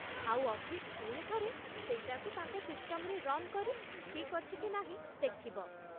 ଆଉ ଅଫିସ୍ ପୁଣି ଥରେ ସେଇଟାକୁ ତାଙ୍କ ସିଷ୍ଟମ୍‌ରେ ରନ୍‌କରି ଠିକ୍ ଅଛି କି ନାହିଁ ଦେଖିବ ।